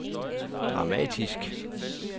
dramatisk